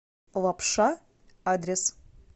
лапша адрес